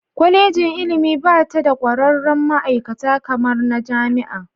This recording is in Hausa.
Kwallejin ilimi bata da kwararrin ma'aikata kamar na Jami'a.